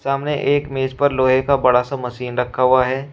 सामने एक मेज पर लोहे का बड़ा सा मशीन रखा हुआ है।